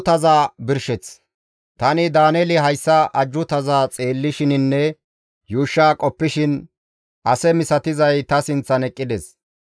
Tani Daaneeli hayssa ajjuutaza xeellishininne yuushsha qoppishin ase misatizay ta sinththan eqqides.